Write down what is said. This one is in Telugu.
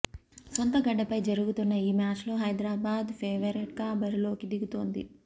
సొంత గడ్డపై జరుగుతున్న ఈ మ్యాచ్లో హైదరాబాద్ ఫేవరెట్గా బరిలోకి దిగుతోంది